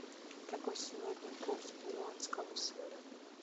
какой сегодня курс перуанского соля